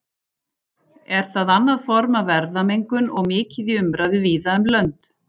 Er það annað form af erfðamengun og mikið í umræðu víða um lönd.